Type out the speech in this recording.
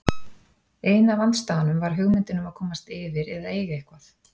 Ein af andstæðunum var hugmyndin um að komast yfir eða eiga eitthvað.